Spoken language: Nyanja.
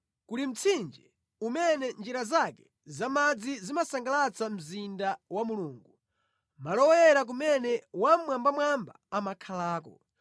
Kuli mtsinje umene njira zake za madzi zimasangalatsa mzinda wa Mulungu, malo oyera kumene Wammwambamwamba amakhalako.